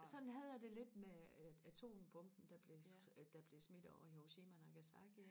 sådan havde jeg det lidt med øh atombomben der blev der blev smit ovre i Hiroshima og Nagasaki